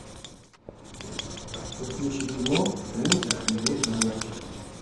подключи кино лунтик и его друзья